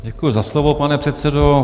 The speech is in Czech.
Děkuji za slovo, pane předsedo.